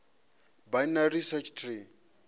binary search tree